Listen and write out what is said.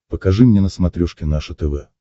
покажи мне на смотрешке наше тв